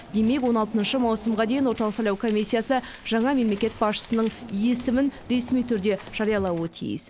демек он алтыншы маусымға дейін орталық сайлау комиссиясы жаңа мемлекет басшысының есімін ресми түрде жариялауы тиіс